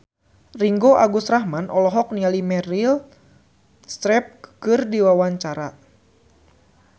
Ringgo Agus Rahman olohok ningali Meryl Streep keur diwawancara